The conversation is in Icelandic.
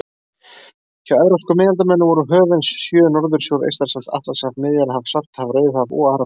Hjá evrópskum miðaldamönnum voru höfin sjö Norðursjór, Eystrasalt, Atlantshaf, Miðjarðarhaf, Svartahaf, Rauðahaf og Arabíuhaf.